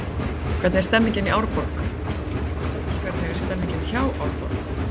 Hvernig er stemningin hjá Árborg?